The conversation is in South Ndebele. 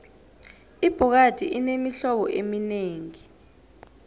ibhokadi inemihlobo eminengi